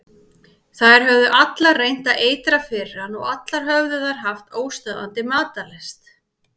Þær höfðu allar reynt að eitra fyrir hann og allar höfðu þær haft óstöðvandi matarlyst.